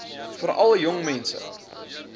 veral jong mense